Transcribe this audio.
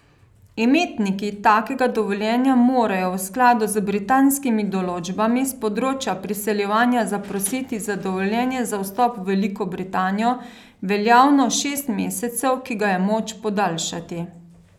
Imetniki takega dovoljenja morajo v skladu z britanskimi določbami s področja priseljevanja zaprositi za dovoljenje za vstop v Veliko Britanijo, veljavno šest mesecev, ki ga je moč podaljšati.